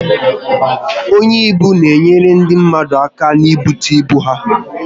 Onye ibu n'enyere ndi mmadu aka n'bute ibu ha